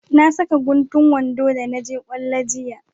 Na saka guntu wando da na je kwallo jiya